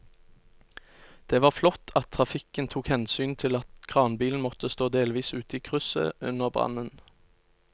Det var flott at trafikken tok hensyn til at kranbilen måtte stå delvis ute i krysset under brannen.